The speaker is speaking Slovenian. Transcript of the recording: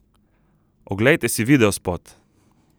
Oglejte si videospot!